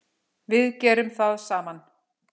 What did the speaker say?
Við gerum það saman.